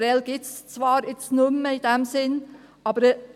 Prêles gibt es zwar jetzt in diesem Sinne nicht mehr.